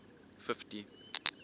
fifty